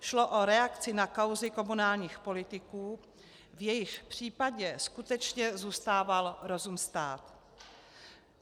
Šlo o reakci na kauzy komunálních politiků, v jejichž případě skutečně zůstával rozum stát.